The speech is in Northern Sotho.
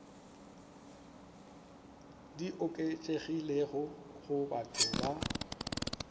di oketšegilego go batho ba